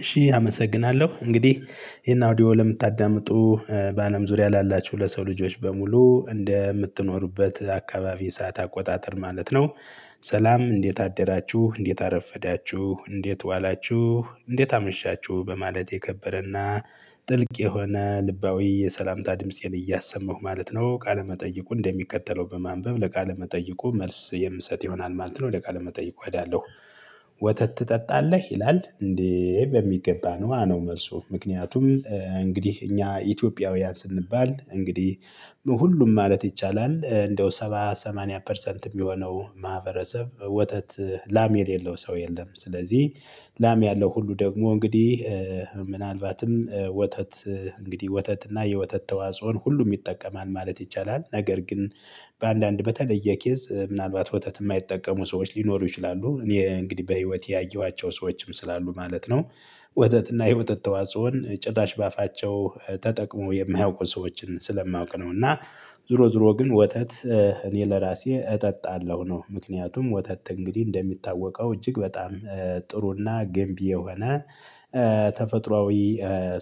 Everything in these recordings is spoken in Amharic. እሺ አመሰግናለሁ። እንግዲህ ይሄን አውዲዮ ለምታዳምጡ በአለም ዙሪያ ላላችሁ ለሰው ልጆች በሙሉ እንደምትኖሩበት አካባቢ ሰዓት አቆጣጠር ማለት ነው ሰላም እንዴት አደራችሁ? እንዴት አረፈዳችሁ? እንዴት ዋላችሁ? እንዴት አመሻችሁ? በማለት የከበረና ጥልቅ የሆነ ልባዊ የሰላምታ ድምፄን እያሰማሁ ማለት ነው ቃለመጠይቁ እንደሚከተለው በማንበብ ለቃለ መጠይቁ መልስ የምሰጥ ይሆናል ማለት ነው። ወደ ቃለ መጠይቁ አይደለሁ። ወተት ትጠጣለህ? ይላል። እንዴ በሚገባ ነዋ መልሱ። ምክንያቱም እንግዲህ እኛ ኢትዮጵያውያን ስንባል እንግዲህ ሁሉም ማለት ይቻላል እንደው ሰባ ሰማንያ ፐርሰንት የሚሆነው ማህበረሰብ ወተት ላም የሌለው ሰው የለም። ስለዚህ ላም ያለው ሁሉ ደግሞ እንግዲህ ምናልባትም ወተት እንግዲህ ወተት እና የወተት ተዋጽኦን ሁሉም ይጠቀማል ማለት ይቻላል። ነገር ግን በአንዳንድ በተለየ ኬዝ ምናልባት ወተት የማይጠቀሙ ሰዎች ሊኖሩ ይችላሉ። እኔ እንግዲህ በህይወቴ ያየኋቸው ሰዎችም ስላሉ ማለት ነው። ወተት እና የወተት ተዋጽኦን ጭራሽ በአፋቸው ተጠቅሞ የማያውቁ ሰዎችን ስለማውቅ ነው። እና ዞሮ ዞሮ ግን ወተት እኔ ለራሴ እጠጣለሁ ነው። ምክንያቱም ወተት እንግዲህ እንደሚታወቀው እጅግ በጣም ጥሩና ገንቢ የሆነ ተፈጥሮአዊ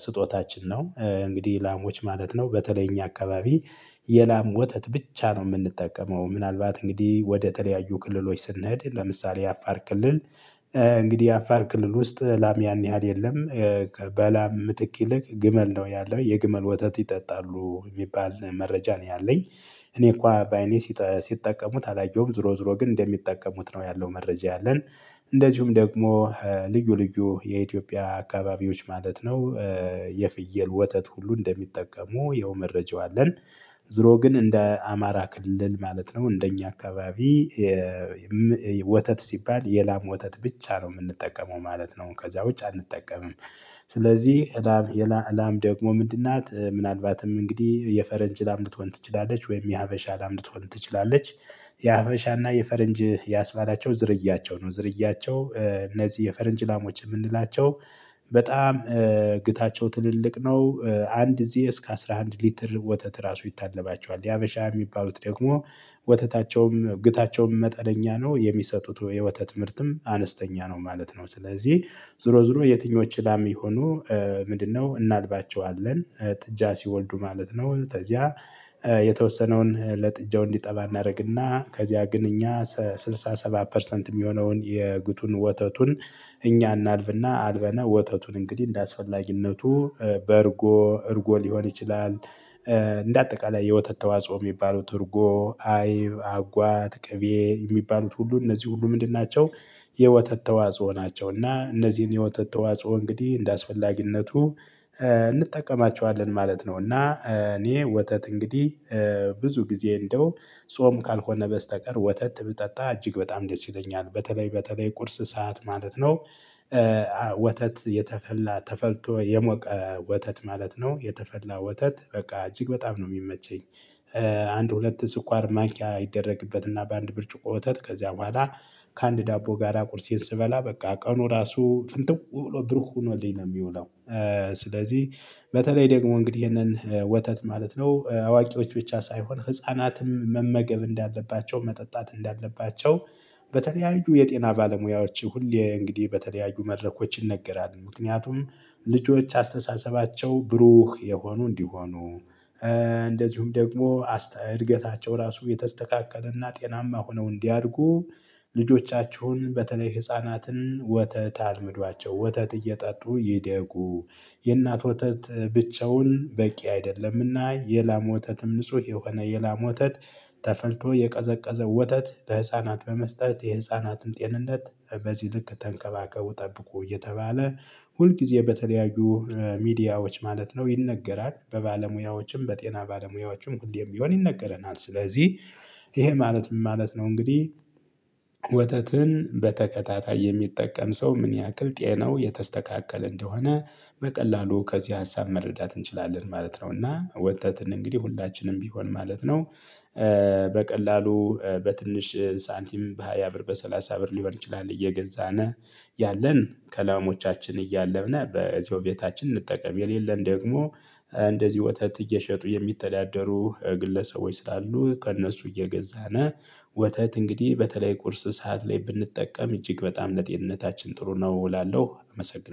ስጦታችን ነው። እንግዲህ ላሞች ማለት ነው በተለይ እኛ አካባቢ የላም ወተት ብቻ ነው የምንጠቀመው። ጨ ምናልባት እንግዲህ ወደተለያዩ ተለያዩ ክልሎች ስንሄድ ለምሳሌ አፋር ክልል እንግዲህ የአፋር ክልል ውስጥ ላም ያን ያህል የለም። በላም ምትክ ይልቅ ግመል ነው ያለው የግመል ወተት ይጠጣሉ የሚባል መረጃ ነው ያለኝ። እኔ እኳ በአይኔ ሲጠቀሙት አላየሁም። ዞሮ ዞሮ ግን እንደሚጠቀሙት ነው ያለው መረጃ ያለን። እንደዚሁም ደግሞ ልዩ ልዩ የኢትዮጵያ አካባቢዎች ማለት ነው የፍየል ወተት ሁሉ እንደሚጠቀሙ ይኸው መረጃው አለን። ዞሮ ግን እንደ አማራ ክልል ማለት ነው እንደኛ አካባቢ ወተት ሲባል የላም ወተት ብቻ ነው የምንጠቀመው ማለት ነው። ከዛ ውጭ አንጠቀምም። ስለዚህ የላም ላም ደግሞ ምንድን ናት? ምናልባትም እንግዲህ የፈረንጅ ላም ልትሆን ትችላለች ወይም የሀበሻ ላም ልትሆን ትችላለች። የሀበሻና የፈረንጅ ያስባላቸው ዝርያቸው ነው። ዝርያቸው እነዚህ የፈረንጅ ላሞች የምንላቸው በጣም ግታቸው ትልልቅ ነው፣ አንድ ጊዜ እስከ አስራ አንድ ሊትር ወተት ራሱ ይታለባቸዋል። የሀበሻ የሚባሉት ደግሞ ወተታቸውም ግታቸውም መጠነኛ ነው። የሚሰጡት የወተ ምርትም አነስተኛ ነው ማለት ነው። ስለዚህ ዞሮ ዞሮ የትኞች ላም ይሁኑ ምንድነው እናልባቸዋለን ጥጃ ሲወልዱ ማለት ነው። ተዚያ የተወሰነውን ለጥጃው እንዲጠባ እናደርግና ከዚያ ግን እኛ ስልሳ ሰባት ፐርሰንት የሚሆነውን የግቱን ወተቱን እኛ እናልፍና አልበነው ወተቱን እንግዲህ እንደአስፈላጊነቱ በርጎ እርጎ ሊሆን ይችላል እንደ አጠቃላይ የወተት ተዋጽኦ የሚባሉት እርጎ፣ አይብ፣ አጓት፣ ቅቤ የሚባሉት ሁሉ እነዚህ ሁሉ ምንድን ናቸው? የወተት ተዋጽኦ ናቸው። እና እነዚህን የወተት ተዋጽኦ እንግዲህ እንደአስፈላጊነቱ እንጠቀማቸዋለን ማለት ነው። እና እኔ ወተት እንግዲህ ብዙ ጊዜ እንደው ጾም ካልሆነ በስተቀር ወተት ብጠጣ እጅግ በጣም ደስ ይለኛል። በተለይ በተለይ ቁርስ ሰዓት ማለት ነው። ወተት የተፈላ ተፈልቶ የሞቀ ወተት ማለት ነው። የተፈላ ወተት በቃ እጅግ በጣም ነው የሚመቸኝ። አንድ ሁለት ስኳር ማኪያ ይደረግበት እና በአንድ ብርጭቆ ወተት ከዚያ በኋላ ከአንድ ዳቦ ጋራ ቁርሴን ስበላ በቃ ቀኑ ራሱ ፍንትው ብሎ ብሩህ ሆኖልኝ ነው የሚውለው። ስለዚህ በተለይ ደግሞ እንግዲህ ይሄንን ወተት ማለት ነው አዋቂዎች ብቻ ሳይሆን ህፃናትም መመገብ እንዳለባቸው፣ መጠጣት እንዳለባቸው በተለያዩ የጤና ባለሙያዎች ሁሌ እንግዲህ በተለያዩ መድረኮች ይነገራል። ምክንያቱም ልጆች አስተሳሰባቸው ብሩህ የሆኑ እንዲሆኑ እንደዚሁም ደግሞ እድገታቸው ራሱ የተስተካከለና ጤናማ ሆነው እንዲያድጉ ልጆቻችሁን በተለይ ህፃናትን ወተት አልመዷቸው፣ ወተት እየጠጡ ይደጉ፣ የእናት ወተት ብቻውን በቂ አይደለምና የላም ወተትም ንጹህ የሆነ የላም ወተት ተፈልቶ የቀዘቀዘው ወተት ለህፃናት በመስጠት የህፃናትን ጤንነት በዚህ ልክ ተንከባከቡ ጠብቁ እየተባለ ሁልጊዜ በተለያዩ ሚዲያዎች ማለት ነው ይነገራል። በባለሙያዎችም በጤና ባለሙያዎችም ሁሌም ቢሆን ይነገረናል። ስለዚህ ይሄ ማለት ምን ማለት ነው እንግዲህ ወተትን በተከታታይ የሚጠቀም ሰው ምን ያህል ጤናው የተስተካከለ እንደሆነ በቀላሉ ከዚህ ሀሳብ መረዳት እንችላለን ማለት ነው። እና ወተትን እንግዲህ ሁላችንም ቢሆን ማለት ነው በቀላሉ በትንሽ ሳንቲም በሃያ ብር በሰላሳ ብር ሊሆን ይችላል እየገዛነ ያለን ከላሞዎቻችን እያለነ በዚሁ ቤታችን እንጠቀም፣ የሌለን ደግሞ እንደዚሁ ወተት እየሸጡ የሚተዳደሩ ግለሰቦች ስላሉ ከእነሱ እየገዛነ ወተት እንግዲህ በተለይ ቁርስ ሰዓት ላይ ብንጠቀም እጅግ በጣም ለጤንነታችን ጥሩ ነው እውላለሁ። አመሰግናለሁ።